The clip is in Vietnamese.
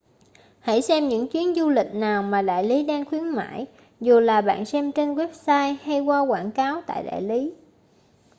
hãy xem những chuyến du lịch nào mà đại lý đang khuyến mãi dù là bạn xem trên website hay qua quảng cáo tại đại lý